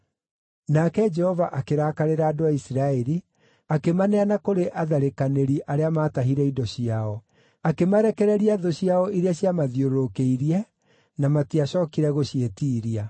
Nake Jehova akĩrakarĩra andũ a Isiraeli, akĩmaneana kũrĩ atharĩkanĩri arĩa maatahire indo ciao. Akĩmarekereria thũ ciao iria ciamathiũrũrũkĩirie, na matiacookire gũciĩtiiria.